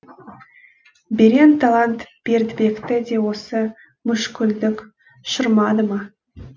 берен талант бердібекті де осы мүшкілдік шырмады ма